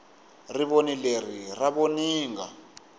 rivoni leri ra voninga